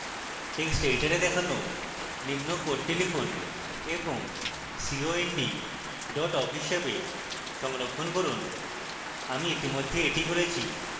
text editor দেখানো নিম্ন code লিখুন এবং cond dot awk হিসাবে সংরক্ষণ করুন আমি ইতিমধ্যে এটি করেছি